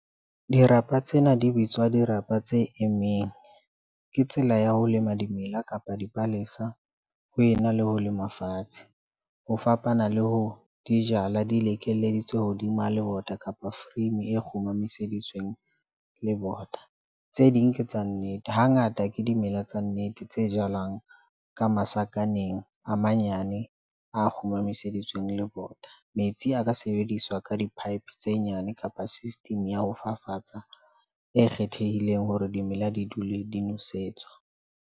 Dirapa tsena di bitswa dirapa tse emeng. Ke tsela ya ho lema dimela kapa dipalesa ho ena le ho lema fatshe ho fapana le ho di jala. Di le keleditswe hodima lebota kapa frame. E kgumaseditsweng lebota tse ding. Ke tsa nnete, Hangata ke dimela tsa nnete tse jalwang ka masakaneng a manyane, a kgumaseditsweng lebota. Metsi a ka sebediswa ka di-pipe tse nyane kapa system ya ho fafatsa e kgethehileng hore dimela di dule di nosetswa.